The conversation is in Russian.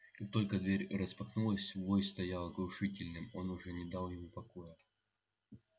как только дверь распахнулась вой стоял оглушительным он уже не дал ему покоя